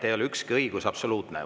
Ei ole ükski õigus absoluutne.